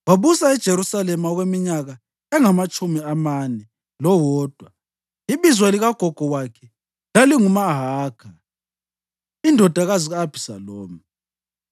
wabusa eJerusalema okweminyaka engamatshumi amane lowodwa. Ibizo likagogo wakhe lalinguMahakha indodakazi ka-Abhisalomu.